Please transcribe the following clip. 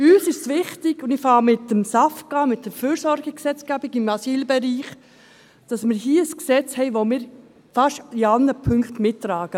Uns ist wichtig – ich beginne mit dem SAFG, der Fürsorgegesetzgebung im Asylbereich –, dass wir hier ein Gesetz haben, das wir in fast allen Punkten mittragen.